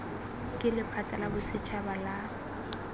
ke lephata la bosetšhaba la